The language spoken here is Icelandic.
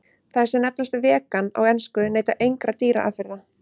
Þær sem nefnast vegan á ensku neyta engra dýraafurða.